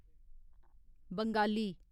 Bengali